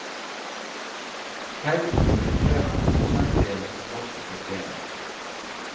Høyden illustrerer prosentdelen som vokste på stedet.